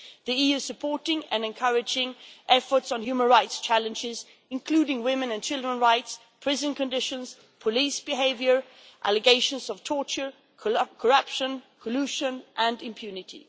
The EU is supporting and encouraging efforts on human rights challenges, including women and children's rights, prison conditions, police behaviour, allegations of torture, corruption, collusion and impunity.